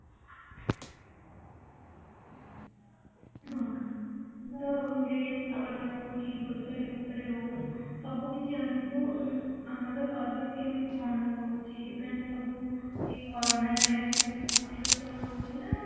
ହଁ ତ dress ଉପରେ ହଉ କି grocery ଉପରେ ହଉ ସବୁକିଛି ଆମକୁ ଆମର service କେମିତି କଣ ରହୁଛି ମାନେ ସବୁ ଏଇ କୋରୋନା time ରେ ସବୁ safety ର ସହ ରହୁଛି ନା